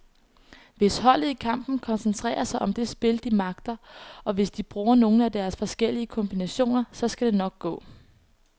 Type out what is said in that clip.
Hvis holdet i kampen koncentrerer sig om det spil, de magter, og hvis de bruger nogle af deres forskellige kombinationer, så skal det nok gå.